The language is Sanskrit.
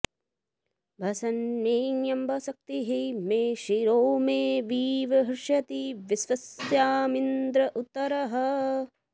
भ॒सन्मे॑ अम्ब॒ सक्थि॑ मे॒ शिरो॑ मे॒ वी॑व हृष्यति॒ विश्व॑स्मा॒दिन्द्र॒ उत्त॑रः